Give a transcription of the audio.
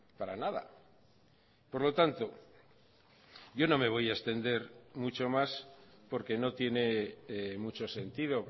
para nada por lo tanto yo no me voy a extender mucho más porque no tiene mucho sentido